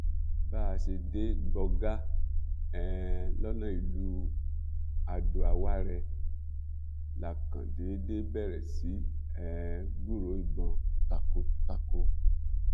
bá a ṣe dé gbọgá um lọnà ìlú adoawárẹ la kàn déédé bẹrẹ sí í um gbúròó ìbọn takọtako